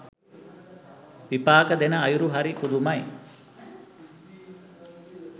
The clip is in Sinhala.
විපාක දෙන අයුරු හරි පුදුමයි.